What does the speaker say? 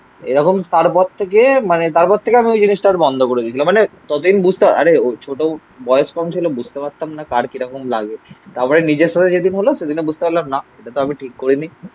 এরকম তারপর থেকে মানে তারপর থেকে আমি ওই জিনিসটা ওর বন্ধ করে দিয়েছিলাম. মানে ততদিন বুঝতাম. আরে ওর ছোট বয়স কম ছিল. বুঝতে পারতাম না. কার কিরকম লাগে. তারপরে নিজের সাথে যেদিন হল সেদিনই বুঝতে পারলাম না. এটা আমি ঠিক করে নি.